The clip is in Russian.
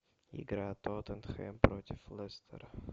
игра тоттенхэм против лестера